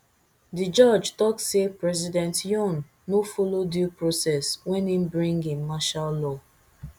di judge tok say president yoon no follow due process wen e bring in martial law